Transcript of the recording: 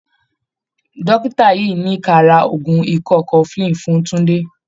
Dọ́kítà yìí ní ka ra oògùn ikọ́ cofflin fún Túńdé.